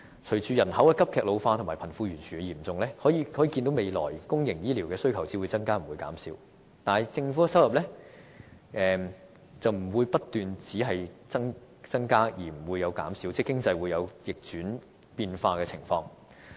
隨着人口急劇老化和貧富懸殊的嚴重，可見未來公營醫療的需求只會增加不會減少，但政府的收入不會只不斷增加而不減少，因為經濟是會有逆轉變化的情況。